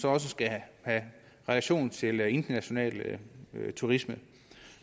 også skal have relation til international turisme